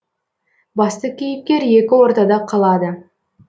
басты кейіпкер екі ортада қалады